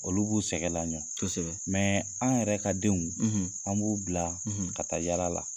Olu b'u sɛgɛ laɲɔ. Kɔsɛbɛ. an yɛrɛ ka denw, an b'u bila ka taa yala la.